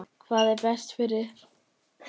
Hvað er best fyrir Þuríði?